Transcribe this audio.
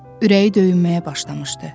Ürəyi döyünməyə başlamışdı.